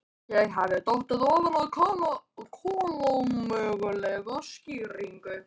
Ég hafði dottið ofan á kolómögulega skýringu.